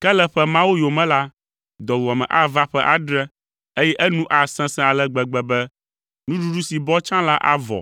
Ke le ƒe mawo yome la, dɔwuame ava ƒe adre, eye enu asesẽ ale gbegbe be nuɖuɖu si bɔ tsã la avɔ,